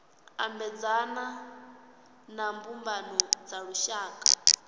ambedzana na mbumbano dza lushaka